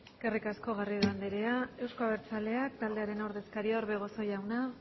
eskerrik asko garrido andrea euzko abertzaleak taldearen ordezkaria orbegozo jauna